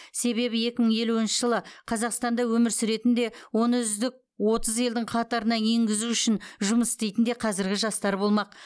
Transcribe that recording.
себебі екі мың елуінші жылы қазақстанда өмір сүретін де оны үздік отыз елдің қатарына енгізу үшін жұмыс істейтін де қазіргі жастар болмақ